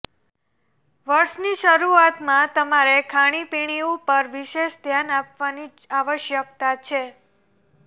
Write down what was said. વર્ષની શરૂઆતમાં તમારે ખાણીપીણી ઉપર વિશેષ ધ્યાન આપવાની આવશ્યકતા છે